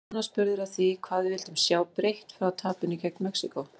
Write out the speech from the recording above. Jóhann var spurður að því hvað við vildum sjá breytt frá tapinu gegn Mexíkó?